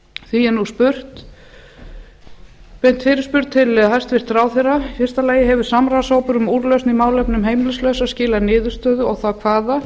því er nú beint fyrirspurn til hæstvirts ráðherra fyrstu hefur samráðshópur um úrlausn í málefnum heimilislausra skilað niðurstöðu og þá hvaða